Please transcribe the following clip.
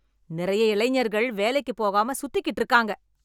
நிறைய இளைஞர்கள் வேலைக்கு போகாம சுத்திக்கிட்டு இருக்காங்க.